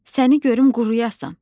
Səni görüm quruyasan.